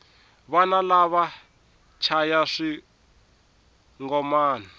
vana lava va chaya swingomani